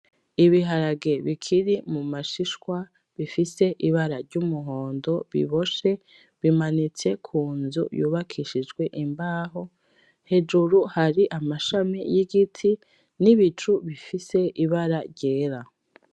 Ibiharage bikiri mu mashishwa, bifise ibara ry’umuhondo biboshe bimanitse ku nzu yubakishijwe imbaho, hejuru hari amashami y’igiti n’ibicu bifise ibara ryera.